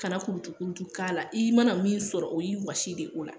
Kana kurutukurutu k'a la , i mana min sɔrɔ o y'i wɔsi de ye o la.